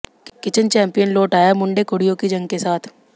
kitchen champion लौट आया मुंडे कुडिय़ों की जंग के साथ